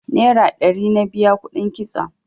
Nera ɗari na biya kuɗin kitson